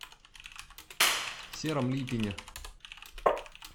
сером липине